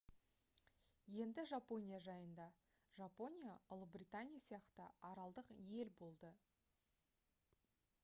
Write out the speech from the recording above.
енді жапония жайында жапония ұлыбритания сияқты аралдық ел болды